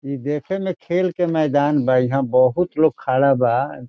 इ देखे में खेल के मैदान बा इहाँ बहुत लोग खाड़ा बा।